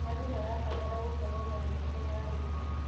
Andũ marabatara gũkorwo na mĩeke ya wĩra.